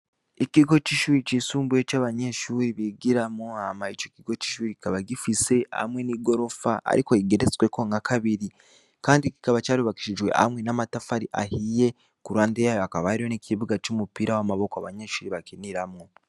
Ikigo c'ishuri cisumbuye c'abanyeshure bigiramwo, hama ico kigo c'ishuri kikaba gifise amwe n'igorofa ariko igeretsweko nkakabiri kandi kikaba carubakishijwe amwe n'amatafari ahiye kuruhande yayo hakaba hariyo n'ikibuga c'umupira w'amaboko abanyeshure bakiniramwo.